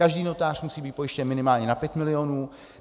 Každý notář musí být pojištěn minimálně na 5 milionů.